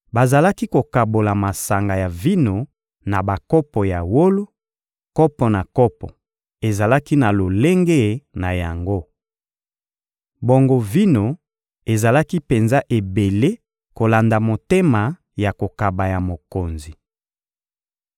Bazalaki kokabola masanga ya vino na bakopo ya wolo; kopo na kopo ezalaki na lolenge na yango. Bongo vino ezalaki penza ebele kolanda motema ya kokaba ya mokonzi.